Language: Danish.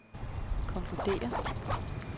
konkluderer